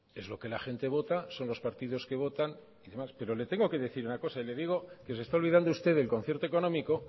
es lo que la gente vota son los partidos que votan y demás pero le tengo que decir una cosa y le digo que se está olvidando usted del concierto económico